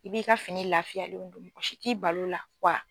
I b'i ka fini lafiya n'i ban'o la wa